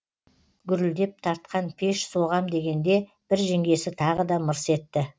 гүрілдеп тартқан пеш соғам дегенде бір жеңгесі тағы да мырс етті